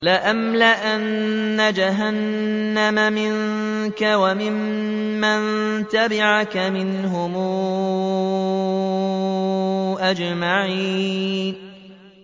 لَأَمْلَأَنَّ جَهَنَّمَ مِنكَ وَمِمَّن تَبِعَكَ مِنْهُمْ أَجْمَعِينَ